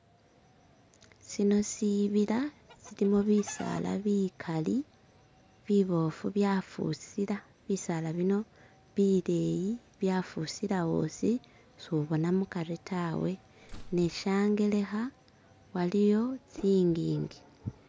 sino sibila silimo bisala bikali bibofu byafusila bisala bino bileyi byafusila osi subona mukari tawe ne shangelekha iliyo tsingingi.